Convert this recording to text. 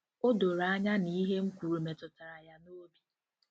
O doro anya na ihe m kwuru metụtara ya n’obi.